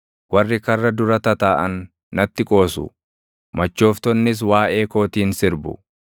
Warri karra dura tataaʼan natti qoosu; machooftonnis waaʼee kootiin sirbu.